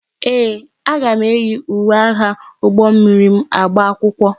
Ee, aga m eyi uwe agha ụgbọ mmiri m agba akwụkwọ.